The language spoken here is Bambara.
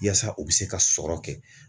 Yaasa u bɛ se ka sɔrɔ kɛ